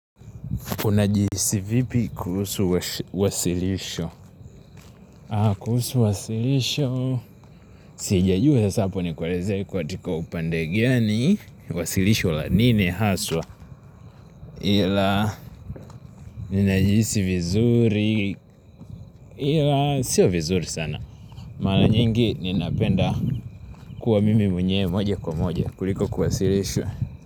Unajihisi vipi kuhusu wasilisho? Kuhusu wasilisho Sijajua sasa hapo nikueleze katika upande gani Wasilisho la nini haswa? Ila Ninajihisi vizuri Ila Sio vizuri sana Mara nyingi ninapenda kuwa mimi mwenyewe moja kwa moja kuliko kuwasilishwa.